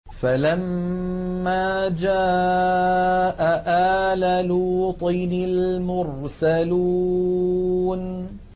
فَلَمَّا جَاءَ آلَ لُوطٍ الْمُرْسَلُونَ